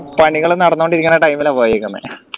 പണികൾ നടന്നോണ്ടിരിക്കുന്ന time ല പോയേക്കുന്നെ